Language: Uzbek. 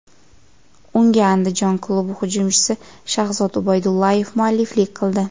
Unga Andijon klubi hujumchisi Shahzod Ubaydullayev mualliflik qildi.